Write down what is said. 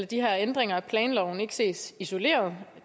de her ændringer af planloven ikke ses isoleret